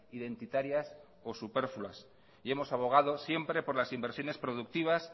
identitarias o superfluas y hemos abogado siempre por las inversiones productivas